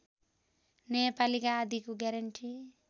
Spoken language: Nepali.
न्यायपालिका आदिको ग्यारेन्टी